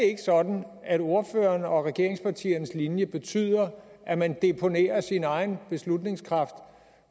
ikke sådan at ordførerens og regeringspartiernes linje betyder at man deponerer sin egen beslutningskraft